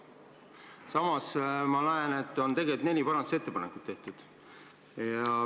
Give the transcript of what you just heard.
Samas ma näen, et on tegelikult neli muudatust tehtud.